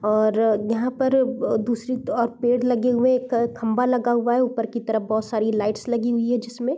और यहाँ पर दूसरी ओर पेड़ लगे हुए है एक खंभा लगा हुआ है ऊपर की तरफ बहुत सारी लाइट्स लगी हुई है जिसमे।